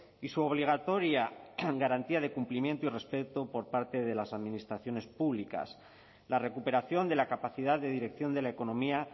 y su obligatoria garantía de cumplimiento y respeto por parte de las administraciones públicas la recuperación de la capacidad de dirección de la economía